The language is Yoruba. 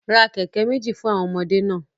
Ra keke meji fun awọn ọmọde naa